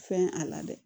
Fɛn a la dɛ